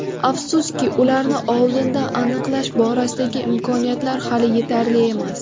Afsuski, ularni oldindan aniqlash borasidagi imkoniyatlar hali yetarli emas.